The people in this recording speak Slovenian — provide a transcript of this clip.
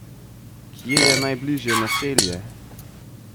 Kje je najbližje naselje?